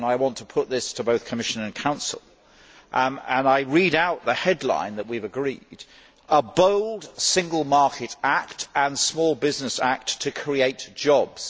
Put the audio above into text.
I want to put this to both Commission and Council and will read out the headline that we have agreed A bold single market act and small business act to create jobs'.